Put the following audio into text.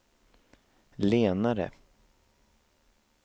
lenare